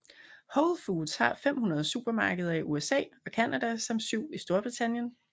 Whole Foods har 500 supermarkeder i USA og Canada samt syv i Storbritannien